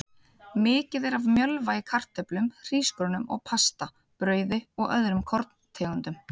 Mikið er af mjölva í kartöflum, hrísgrjónum og pasta, brauði og öðrum vörum úr korntegundum.